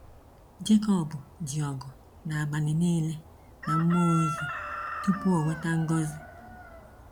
Jekọb ji ọgụ n’abalị niile na mmụọ ozi tupu ọ nweta ngọzi.